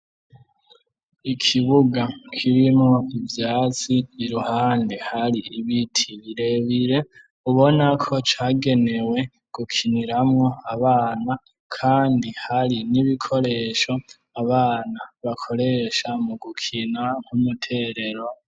Ikibuga, kirimwo ivyatsi, iruhande, hari ibiti birebire, ubona ko, cagenewe gukiniramwo abana; kandi hari n'ibikoresho, abana bakoresha mu gukina; nk'umuterero.